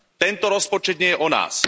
Tento rozpočet nie je o nás.